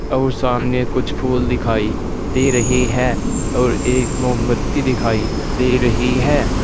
और सामने कुछ फूल दिखाई दे रही है और एक मोमबत्ती दिखाई दे रही है।